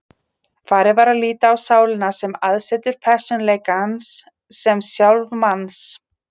Farið var að líta á sálina sem aðsetur persónuleikans, sem sjálf manns.